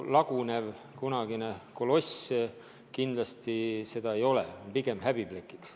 Lagunev koloss kindlasti seda ei ole, on pigem häbiplekiks.